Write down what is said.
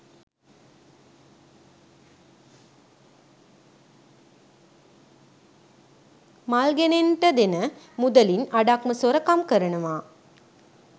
මල් ගෙනෙන්ට දෙන මුදලින් අඩක්ම සොරකම් කරනවා